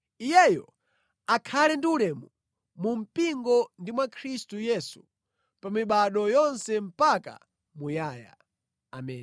Iyeyo akhale ndi ulemu mu mpingo ndi mwa Khristu Yesu pa mibado yonse mpaka muyaya. Ameni.